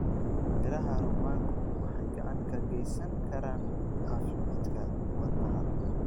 Midhaha rummaanku waxay gacan ka geysan karaan caafimaadka wadnaha.